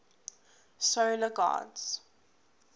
solar gods